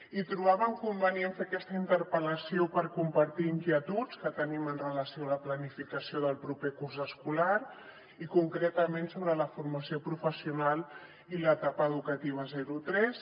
i trobàvem convenient fer aquesta interpel·lació per compartir inquietuds que tenim amb relació a la planificació del proper curs escolar i concretament sobre la formació professional i l’etapa educativa zero tres